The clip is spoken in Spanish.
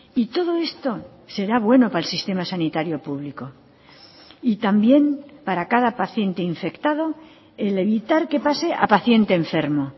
y todo esto será bueno para el sistema sanitario público y también para cada paciente infectado el evitar que pase a paciente enfermo